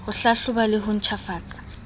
ho hlahloba le ho ntjhafatsa